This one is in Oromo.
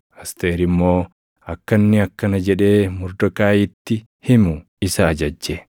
Asteer immoo akka inni akkana jedhee Mordekaayiitti himu isa ajajje;